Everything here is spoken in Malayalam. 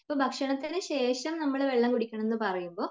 ഇപ്പൊ ഭക്ഷണത്തിനു ശേഷം നമ്മൾ വെള്ളം കുടിക്കണം എന്ന് പറയുമ്പോൾ